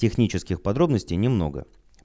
технических подробностей немного